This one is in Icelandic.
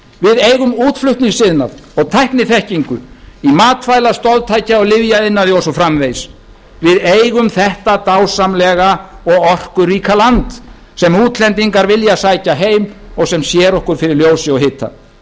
við eigum útflutningsiðnað og tækniþekkingu í matvæla stoðtækja og lyfjaiðnaði og svo framvegis við eigum þetta dásamlega og orkuríka land sem útlendingar vilja sækja heim og sem sér okkur fyrir ljósi og hita